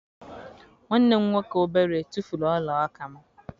Nwanne m nwoke obere tufuru ọla aka m.